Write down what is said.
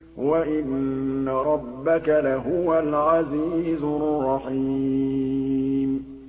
وَإِنَّ رَبَّكَ لَهُوَ الْعَزِيزُ الرَّحِيمُ